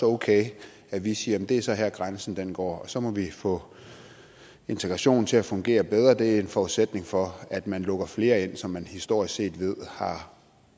okay at vi siger at det så er her grænsen går og så må vi få integrationen til at fungere bedre for det er en forudsætning for at man lukker flere ind som man historisk set ved har